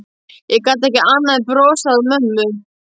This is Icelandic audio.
Ég gat ekki annað en brosað að mömmu.